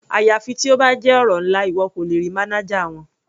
Àyàfi tí ó bá jẹ́ ọ̀rọ̀ ńlá, ìwọ kò lè rí mánájà wọn.